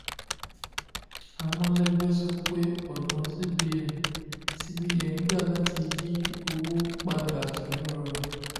amolegbe sọ pé ọ̀nà cbn cbn gbà láti yí owó padà kì í rọrùn.